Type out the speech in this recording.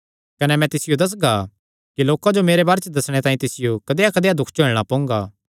कने मैं तिसियो दस्सगा कि लोकां जो मेरे बारे च दस्सणे तांई तिसियो कदेयाकदेया दुख झेलणा पोंगा